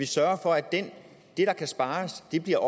sørger for at det der kan spares bliver